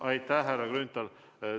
Aitäh, härra Grünthal!